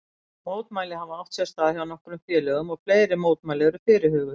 Mótmæli hafa átt sér stað hjá nokkrum félögum og fleiri mótmæli eru fyrirhuguð.